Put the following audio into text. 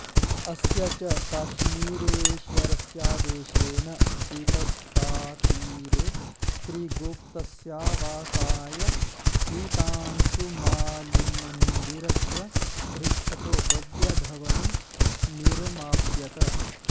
अस्य च काश्मीरेश्वरस्यादेशेन वितस्तातीरेऽत्रिगुप्तस्यावासाय सितांशुमालिमन्दिरस्य पृष्ठतो भव्यभवनं निरमाप्यत